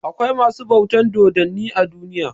Akwai masu bautan dodanni a duniya.